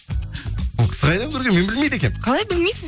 ол кісі қайда мен білмейді екенмін қалай білмейсіз